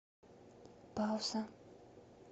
пауза